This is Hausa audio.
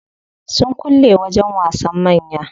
Sun kulle wajen wasan manya.